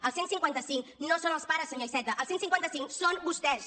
el cent i cinquanta cinc no són els pares senyor iceta el cent i cinquanta cinc són vostès